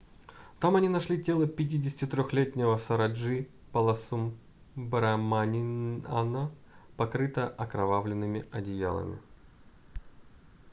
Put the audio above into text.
там они нашли тело 53-летнего сароджи баласубраманиана покрытое окровавленными одеялами